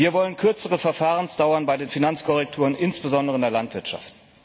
Wir wollen eine kürzere Verfahrensdauer bei den Finanzkorrekturen, insbesondere in der Landwirtschaft.